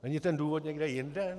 Není ten důvod někde jinde?